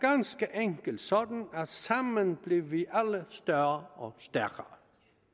enkelt sådan at sammen bliver vi alle større og stærkere